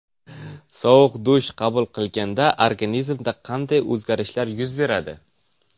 Sovuq dush qabul qilganda organizmda qanday o‘zgarish yuz beradi?.